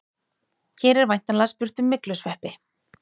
Hér er væntanlega spurt um myglusveppi.